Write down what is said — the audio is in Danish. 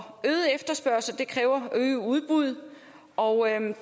øget efterspørgsel kræver øget udbud og